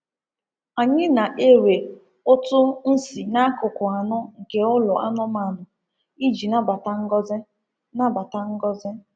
Anyị na-ere ụtụ nsí n'akụkụ anọ nke ụlọ anụmanụ iji nabata ngọzi. nabata ngọzi.